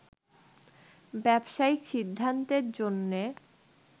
ব্যবসায়িক সিদ্ধান্তের জন্যে